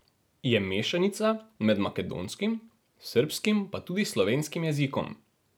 Je mešanica med makedonskim, srbskim, pa tudi slovenskim jezikom.